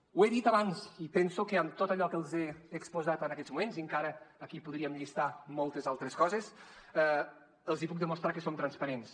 ho he dit abans i penso que amb tot allò que els he exposat en aquests moments i encara aquí podríem llistar moltes altres coses els puc demostrar que som transparents